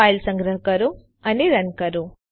file સંગ્રહ કરો અને રન કરો